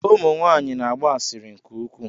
Ụmụ nwanyị na-agba asịrị nke ukwu.